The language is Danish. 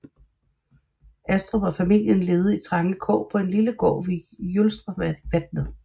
Astrup og familien levede i trange kår på en lille gård ved Jølstravatnet